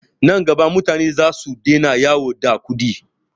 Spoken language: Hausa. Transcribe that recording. Nan gaba mutane zasu daina yawo da kuɗi.